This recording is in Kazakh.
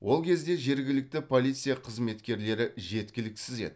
ол кезде жергілікті полиция қызметкерлері жеткіліксіз еді